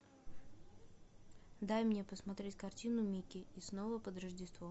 дай мне посмотреть картину микки и снова под рождество